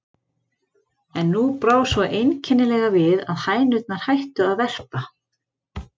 En nú brá svo einkennilega við, að hænurnar hættu að verpa.